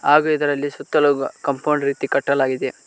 ಹಾಗು ಇದರಲ್ಲಿ ಸುತ್ತಲು ಕಾಂಪೌಂಡ್ ರೀತಿ ಕಟ್ಟಲಾಗಿದೆ.